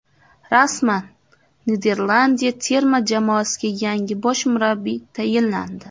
Rasman: Niderlandiya terma jamoasiga yangi bosh murabbiy tayinlandi.